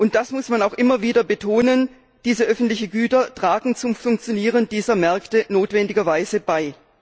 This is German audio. Das muss man auch immer wieder betonen, diese öffentlichen Güter tragen zum Funktionieren dieser Märkte notwendigerweise bei.